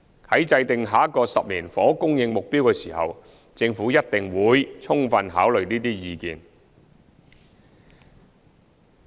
在制訂下一個10年房屋供應目標的時候，政府一定會充分考慮這些意見。